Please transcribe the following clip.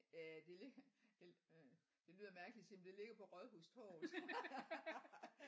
Øh det ligger øh det lyder mærkeligt at sige men det ligger på rådhustorvet